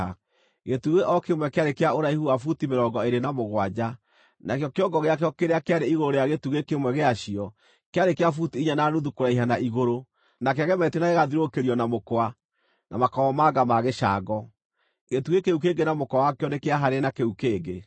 Gĩtugĩ o kĩmwe kĩarĩ kĩa ũraihu wa buti mĩrongo ĩĩrĩ na mũgwanja. Nakĩo kĩongo gĩakĩo kĩrĩa kĩarĩ igũrũ rĩa gĩtugĩ kĩmwe gĩacio kĩarĩ kĩa buti inya na nuthu kũraiha na igũrũ, na kĩagemetio na gĩgathiũrũrũkĩrio na mũkwa na makomamanga ma gĩcango. Gĩtugĩ kĩu kĩngĩ na mũkwa wakĩo nĩkĩahaanaine na kĩu kĩngĩ.